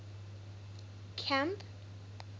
camp